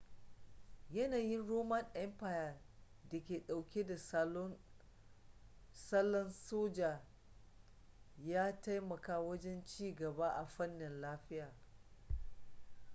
yanayin roman empire da ke dauke da salon soja ya taimaka wajen ci gaba a fanni lafiya